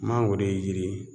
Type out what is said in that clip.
Mangoro ye yiri ye